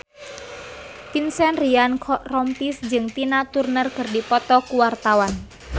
Vincent Ryan Rompies jeung Tina Turner keur dipoto ku wartawan